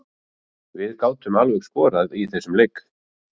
Við gátum alveg skorað í þessum leik.